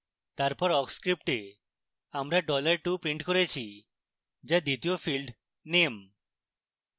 তারপর awk script আমরা dollar 2 script করেছি যা দ্বিতীয় field name